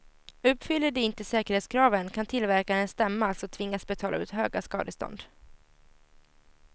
Uppfyller de inte säkerhetskraven kan tillverkaren stämmas och tvingas betala ut höga skadestånd.